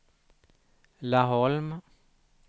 Laholm